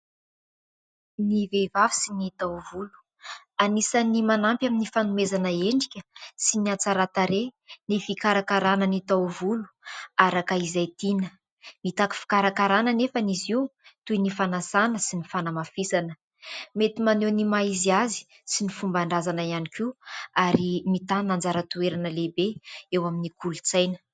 Ny vehivavy sy ny taovolo. Anisan'ny manampy amin'ny fanomezana endrika sy ny hatsaran-tarehy ny fikarakaràna ny taovolo araka izay tiana. Mitaky fikarakaràna anefany izy io toy ny fanasàna sy ny fanamafisana. Mety maneho ny maha izy azy sy ny fomban-drazana ihany koa ary mitàna anjara toerana lehibe eo amin'ny kolontsaina.